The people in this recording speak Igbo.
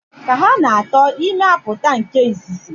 Ka ha na-ato, ime apụta nke izizi.